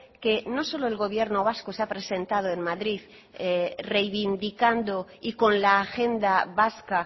que no solo el gobierno vasco se ha presentado en madrid reivindicando y con la agenda vasca